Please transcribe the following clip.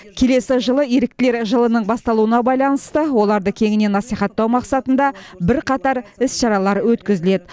келесі жылы еріктілер жылының басталуына байланысты оларды кеңінен насихаттау мақсатында бірқатар іс шаралар өткізіледі